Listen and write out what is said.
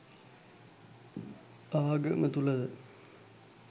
ආගම තුල ද